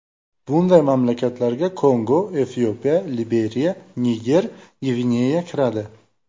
Bunday mamlakatlarga Kongo, Efiopiya, Liberiya, Niger, Gvineya kiradi.